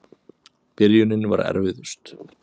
Byrjunin var erfiðust.